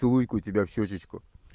целуйкаю тебя в щёчечку